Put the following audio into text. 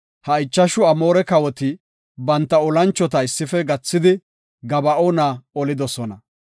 Ha ichashu Amoore kawoti banta olanchota issife gathidi, Gaba7oona olidosona.